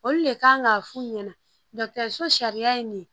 Olu le kan ŋ'a f'u ɲɛna so sariya ye nin ye